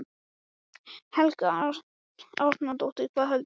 Helga Arnardóttir: Hvað veldur?